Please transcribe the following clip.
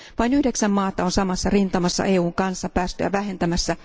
Vain yhdeksän maata on samassa rintamassa EUn kanssa päästöjä vähentämässä.